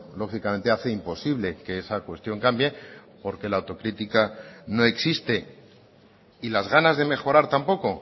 lógicamente hace imposible que esa cuestión cambie porque la autocrítica no existe y las ganas de mejorar tampoco